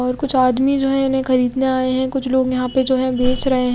और कुछ आदमी जो इन्हें खरीदने आये हैं कुछ लोग यहां पे जो है बेच रहे--